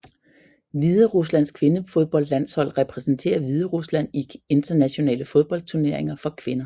Hvideruslands kvindefodboldlandshold repræsenterer Hviderusland i internationale fodboldturneringer for kvinderl